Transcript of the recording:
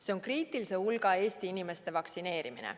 See on kriitilise hulga Eesti inimeste vaktsineerimine.